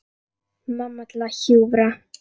Mamma til að hjúfra.